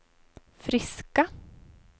friska